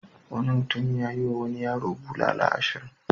Wani mutum ya yiwa wani yaro bulala ashirin.